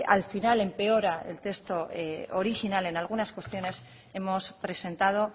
al final empeora el texto original en algunas cuestiones hemos presentado